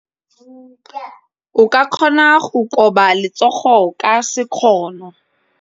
O ka kgona go koba letsogo ka sekgono.